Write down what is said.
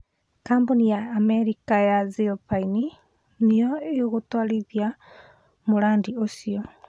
Kambuni ya Amerika ya Zilpine nĩyo ĩgũtwarithia mũradi ũcio